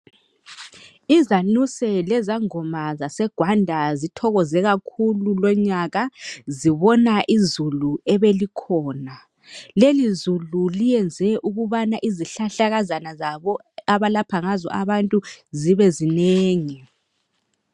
Izanuse lezangoma zaseGwanda zithokoze kakhulu lonyaka, zibona izulu ebelikhona. Lelizulu lenze izihlahlakazana abalapha ngazo abantu zibezinengi.